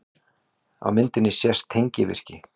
Á myndinni sést tengivirki.